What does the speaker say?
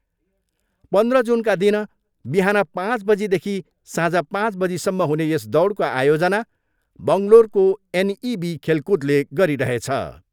पन्ध्र जुनका दिन बिहान पाँच बजीदेखि साँझ पाँच बजीसम्म हुने यस दौडको आयोजना बङ्गलोरको एनइबी खेलकुदले गरिरहेछ।